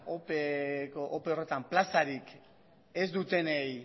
ope horretan plazarik ez dutenei